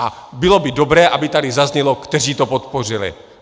A bylo by dobré, aby tady zaznělo, kteří to podpořili.